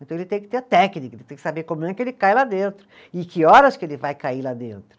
Então ele tem que ter a técnica, ele tem que saber como é que ele cai lá dentro e que horas que ele vai cair lá dentro.